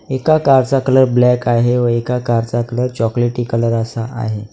एका कारचा colour black आहे व एका कारचा कलर चॉकलेटी कलर असा आहे.